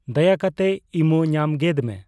ᱫᱟᱭᱟ ᱠᱟᱛᱮᱜ ᱤᱢᱳ ᱧᱟᱢ ᱜᱮᱫ ᱢᱮ